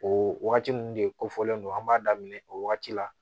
O wagati mun de ko fɔlen don an b'a daminɛ o wagati la